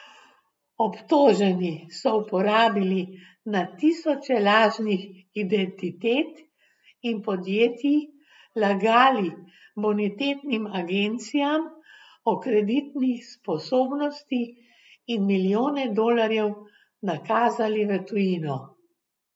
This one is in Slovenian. Obtoženi so uporabili na tisoče lažnih identitet in podjetij, lagali bonitetnim agencijam o kreditni sposobnosti in milijone dolarjev nakazali v tujino.